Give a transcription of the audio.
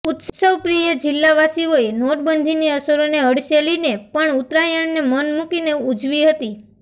ઉત્સવપ્રિય જિલ્લાવાસીઓએ નોટબંધીની અસરોને હડસેલીને પણ ઉત્તરાયણને મન મુકીને ઉજવી હતી